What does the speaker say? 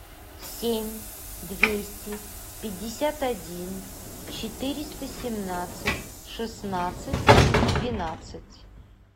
семь двести пятьдесят один четыреста семнадцать шестнадцать двенадцать